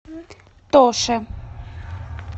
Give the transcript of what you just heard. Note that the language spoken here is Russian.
тоше